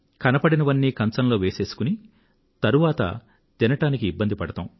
కనబడినవన్నీ కంచంలో వేసేసుకుని తరువాత తినడానికి ఇబ్బంది పడతాం